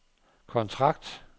kontrakt